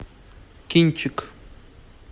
кинчик